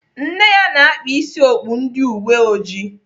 Nne ya na-akpa isi okpu ndị uweojii.